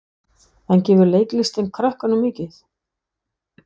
En gefur leiklistin krökkunum mikið?